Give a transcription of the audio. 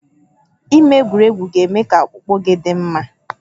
Ime egwuregwu ga-eme ka ọkpụkpụ gị dị mma